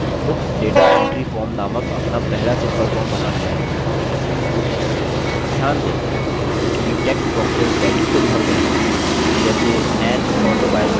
ध्यान दें कि text boxes values से भर गये हैं जैसे an autobiography jawaharlal nehru आदि